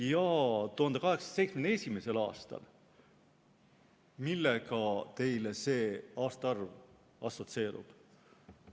1871. aasta – millega teil see aastaarv assotsieerub?